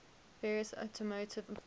various automotive filters